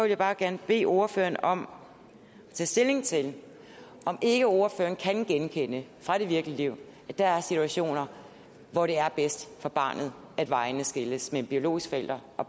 jeg bare gerne bede ordføreren om at tage stilling til om ikke ordføreren kan genkende fra det virkelige liv at der er situationer hvor det er bedst for barnet at vejene skilles mellem biologiske forældre og